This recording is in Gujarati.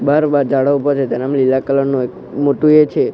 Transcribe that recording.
લીલા કલર નુ એક મોટુ એ છે.